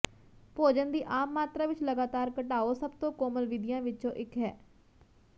ਭੋਜਨ ਦੀ ਆਮ ਮਾਤਰਾ ਵਿੱਚ ਲਗਾਤਾਰ ਘਟਾਓ ਸਭ ਤੋਂ ਕੋਮਲ ਵਿਧੀਆਂ ਵਿੱਚੋਂ ਇੱਕ ਹੈ